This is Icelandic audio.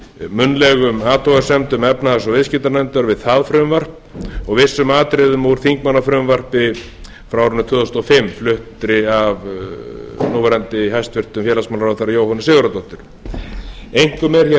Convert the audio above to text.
munnlegum athugasemdum efnahags og viðskiptanefndar við það frumvarp og vissum atriðum úr þingmannafrumvarpi frá árinu tvö þúsund og fimm flutt af núverandi hæstvirtan félagsmálaráðherra jóhönnu sigurðardóttur einkum er